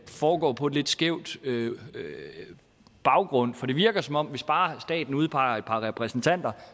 foregår på en lidt skæv baggrund for det virker som om at hvis bare staten udpeger et par repræsentanter